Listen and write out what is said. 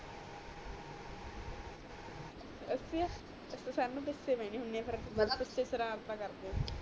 ਅੱਛਾ ਬਚੇ ਕਰਦੇ ਆ